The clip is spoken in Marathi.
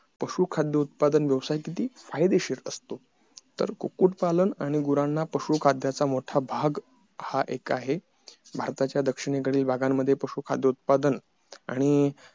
पशु खाद्य उत्पादन व्यवसाय किती फायदेशीर असतो तर कुक्कुट पालन आणि गुरांना पशु खाद्याचा मोठा भाग हा एक आहे भारताच्या दक्षिणेकडील भागांमध्ये पशु खाद्य उतपादन आणि